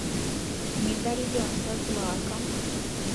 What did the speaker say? медальон со злаком